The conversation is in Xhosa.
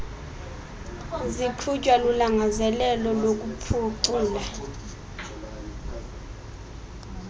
ziqhutywa lulangazelelo lokuphucula